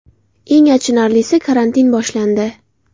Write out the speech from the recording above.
Eng achinarlisi, karantin boshlandi.